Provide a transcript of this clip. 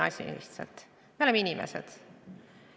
Me oleme inimesed.